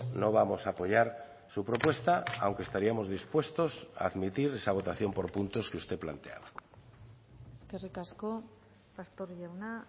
no vamos a apoyar su propuesta aunque estaríamos dispuestos a admitir esa votación por puntos que usted planteaba eskerrik asko pastor jauna